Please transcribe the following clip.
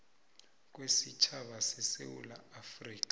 kwesitjhaba sesewula afrika